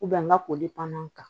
n ka koli panan kan